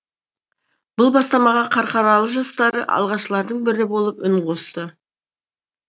бұл бастамаға қарқаралы жастары алғашқылардың бірі болып үн қосты